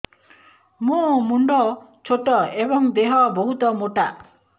ମୋ ମୁଣ୍ଡ ଛୋଟ ଏଵଂ ଦେହ ବହୁତ ମୋଟା